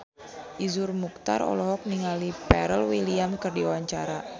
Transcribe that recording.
Iszur Muchtar olohok ningali Pharrell Williams keur diwawancara